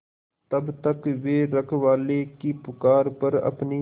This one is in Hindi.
तब तक वे रखवाले की पुकार पर अपनी